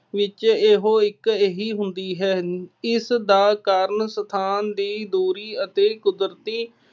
ਵਿੱਚ ਇਹੋ ਇੱਕ ਇਹੀ ਹੁੰਦੀ ਹੈ। ਇਸਦਾ ਕਾਰਨ ਸਥਾਨ ਦੀ ਦੂਰੀ ਅਤੇ ਕੁਦਰਤੀ